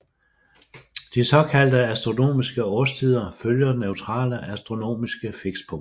De såkaldte astronomiske årstider følger neutrale astronomiske fikspunkter